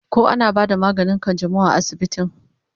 koh ana bada maganin kanjamau a asibitin?